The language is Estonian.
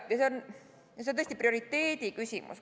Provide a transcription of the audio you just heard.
Ja see on tõesti prioriteedi küsimus.